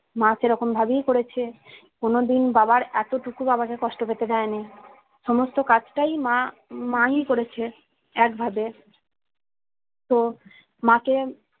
মা সেরকমভাবেই করেছে কোনোদিন বাবার এতটুকু বাবাকে কষ্ট পেতে দায়নে সমস্ত কাজটাই মা মা ই করেছে একভাবে তো মা কে